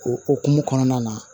O okumu kɔnɔna na